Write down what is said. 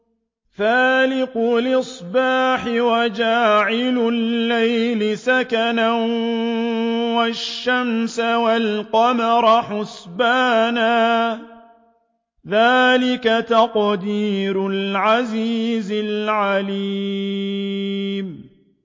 فَالِقُ الْإِصْبَاحِ وَجَعَلَ اللَّيْلَ سَكَنًا وَالشَّمْسَ وَالْقَمَرَ حُسْبَانًا ۚ ذَٰلِكَ تَقْدِيرُ الْعَزِيزِ الْعَلِيمِ